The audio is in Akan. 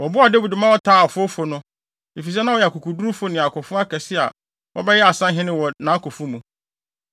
Wɔboaa Dawid ma ɔtaa afowfo no, efisɛ na wɔyɛ akokodurufo ne akofo akɛse a wɔbɛyɛɛ asahene wɔ nʼakofo mu.